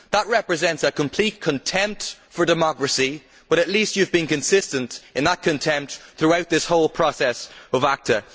That represents a complete contempt for democracy, but at least you have been consistent in that contempt throughout this whole process of ACTA.